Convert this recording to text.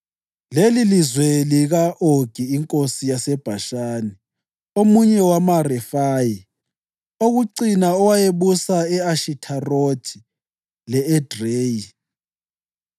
Lelizwe lika-Ogi inkosi yaseBhashani, omunye wamaRefayi okucina owayebusa e-Ashitharothi le-Edreyi.